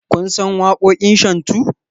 Kun san waƙoƙin shantu?